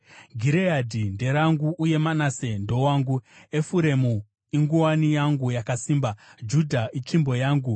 Gireadhi nderangu, uye Manase ndowangu; Efuremu inguwani yangu yakasimba, Judha itsvimbo yangu.